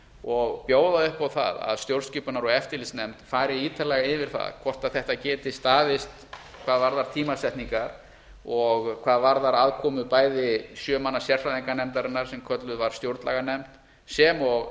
og bjóða upp á það að stjórnskipunar og eftirlitsnefnd fari ítarlega yfir það hvort þetta geti staðist hvað varðar tímasetningar og hvað varðar aðkomu bæði sjö manna sérfræðinganefndarinnar sem kölluð var stjórnlaganefnd sem og